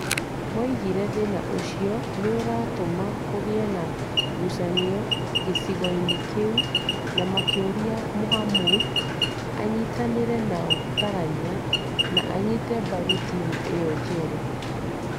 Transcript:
Moigire thĩna ũcio nĩ ũratũma kũgĩe na ngucanio gĩcigo-inĩ kĩu na makĩũria Mohamud "anyitanĩre nao ta raiya" na anyite mbaru timu ĩyo njerũ.